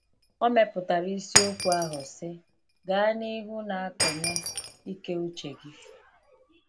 Ọ mepụtara isiokwu ahụ sị: “Gaa n’ihu na akọnye ‘Ike Uche Gị.’”